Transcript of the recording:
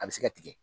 A bɛ se ka tigɛ